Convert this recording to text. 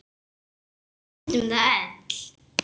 Við fundum það öll.